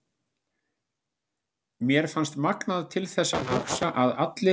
Mér fannst magnað til þess að hugsa að allir